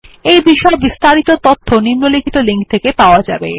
এই বিষয়ে বিস্তারিত তথ্য নিম্নলিখিত লিঙ্ক থেকে পাওয়া যাবে